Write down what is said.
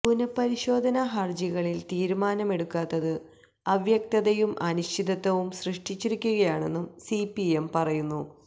പുനപരിശോധ ഹര്ജികളില് തീരുമാനമെടുക്കാത്തത് അവ്യക്തതയും അനിശ്ചിതത്വവും സൃഷ്ടിച്ചിരിക്കുകയാണെന്നും സിപിഎം പറയുന്നു